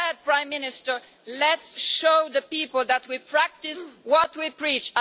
You said, Prime Minister Let's show the people that we practise what we preach'.